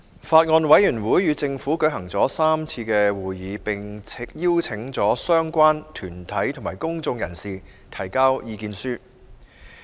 法案委員會與政府舉行了3次會議，並邀請相關團體及公眾人士提交意見書。